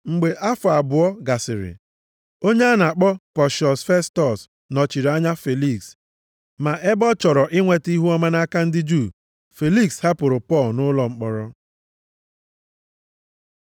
Mgbe afọ abụọ gasịrị, onye a na-akpọ Pọshiọs Festọs nọchiri anya Feliks. Ma ebe ọ chọrọ inweta ihuọma nʼaka ndị Juu, Feliks hapụrụ Pọl nʼụlọ mkpọrọ.